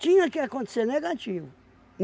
Tinha que acontecer. Negativo.